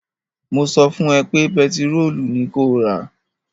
Mo sọ fún ẹ pé pẹtirólù ni kó rà!